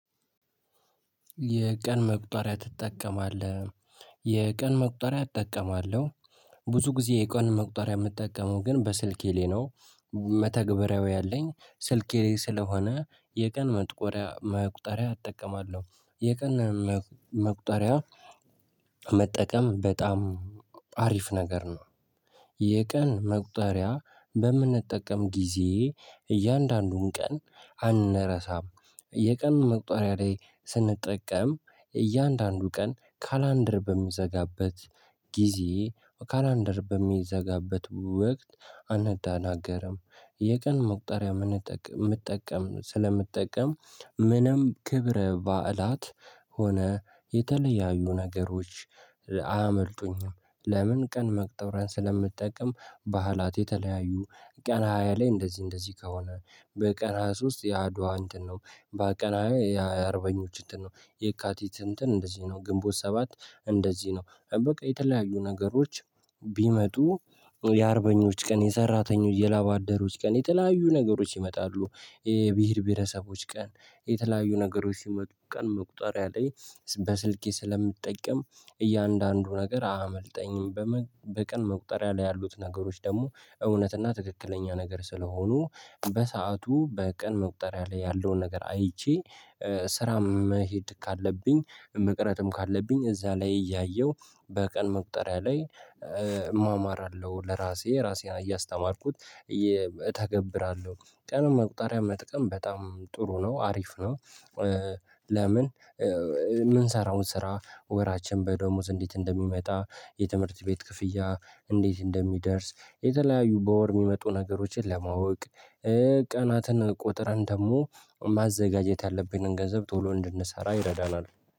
የቀን መቁጠሪያ ትጠቀማለህ? የቀን መቁጠሪያ እጠቀማለሁ። ብዙ ጊዜ የቀን መቁጠሪያ የምጠቀመው ግን በስልኬ ላይ ነው። መተግበሪያው ያለኝ ስልኬ ስለሆነ የቀን መጥቆሪያ መቁጠሪያ እጠቀማለሁ የቀን መቁጠሪያ መጠቀም በጣም አሪፍ ነገር ነው። የቀን መቁጠሪያ በምንጠቀም ጊዜ እያንዳንዱን ቀን አንረሳም እ የቀን መቁጠሪያ ላይ ስንጠቀም እያንዳንዱ ቀን ካላንደር በሚዘጋበት ጊዜ ካላንደር በሚዘጋበት ወቅት አንደናገርም። የቀን መቁጠሪያ ምንጠቀም ምጠቀም ስለምጠቀም ምንም ክብረ በዓላት ሆነ የተለያዩ ነገሮች እ አያመልጡኝም። ለምን ቀን መቁጠሪያን ስለምጠቀም በዓላት የተለያዩ ቀን ሃያ ላይ እንደዚህ እንደዚህ ከሆነ በቀን ሃያ ሶስት የአድዋ እንትን ነው። በቀን ሃያ አርበኞች እንትን ነው የካቲት እንትን እንደዚህ ነው ግንቦት ሰባት እንደዚህ ነው። በቃ የተለያዩ ነገሮች ቢመጡ እ የአርበኞች ቀን የሰራተኞች የላባደሮች ቀን የተለያዩ ነገሮች ይመጣሉ። የብሄር ብሄረሰቦች ቀን የተለያዩ ነገሮች ሲመጡ ቀን መቁጠሪያ ላይ በስልኬ ስለምጠቅም እያንዳንዱ ነገር አያመልጠኝም። በቀን መቁጠሪያ ላይ ያሉት ነገሮች ደግሞ እውነትና ትክክለኛ ነገር ስለሆኑ በሰአቱ በቀን መቁጠሪያ ላይ ያለውን ነገር አይቼ እ ስራ መሄድ ካለብኝ መቅረትም ካለብኝ እዛ ላይ እያየሁ በቀን መቁጠሪያ ላይ እ እማማራለሁ ለራሴ ራሴን እያስተማርኩት እየ እተገብራለሁ። ቀን መቁጠሪያ መጠቀም በጣም ጥሩ ነው አሪፍ ነው። እ ለምን እ ምንሰራውን ስራ ወራችን በደመወዝ እንዴት እንደሚመጣ? የትምህርት ቤት ክፍያ እንዴት እንደሚደርስ? የተለያዩ በወር የሚመጡ ነገሮችን ለማወቅ እ ቀናትን ቁጥርን ደግሞ ማዘጋጀት ያለብንን ገንዘብ ቶሎ እንድንሰራ ይረዳናል